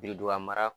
Birinduga mara